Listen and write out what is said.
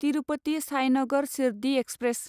Tirupati Sainagar Shirdi express